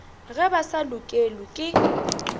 ge ba sa lokelwe ke